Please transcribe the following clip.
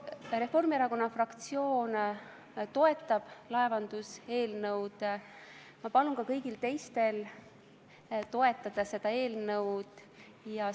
Reformierakonna fraktsioon toetab laevanduseelnõu ja ma palun ka kõigil teistel seda eelnõu toetada.